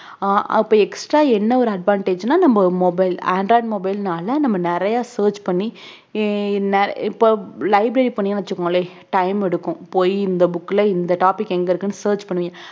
ஆஹ் அப்ப extra என்ன ஒரு advantage னா நம்ம mobile android mobile னால நம்ம நிறைய search பண்ணி இ~ இன்ன~ இப்ப library போனீங்கன்னா வெச்சுக்கோங்களேன் time எடுக்கும் போயி இந்த book ல இந்த topic எங்க இருக்குன்னு search பண்ணுவிங்க